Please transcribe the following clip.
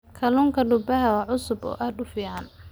Kalluunka badda waa cusub oo aad u fiican.